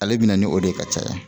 Ale bɛna ni o de ye ka caya